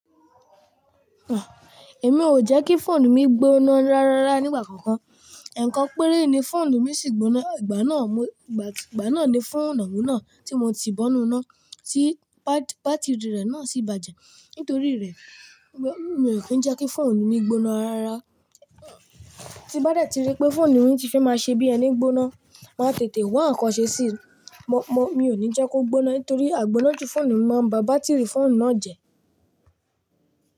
Èmi ò jẹ́ kí fóònù mi gbóná rárá nígbà kankan. Ẹ̀ẹ̀kan péré ni fóònù mi sì gbóná. Igbana mo Ìgbà náà ni fóònù oun naa tí mo ti bo inu iná, tí bátìrì rẹ̀ ná sì bàjẹ́. Nítorí rẹ̀, mi ò ki n jẹ́ kí fóònù mi gbóná rárá. Tí bá de ti rí pé fóònù mi ti fẹ́ máa ṣe bí ẹni gbóná, máa tètè wá nkan sẹ́ síi. Mo, mo, mi ò ní jẹ́ kó gbóná nítorí àgbóná ju fóònù máa ń ba bátìrì fóònù náà jẹ́.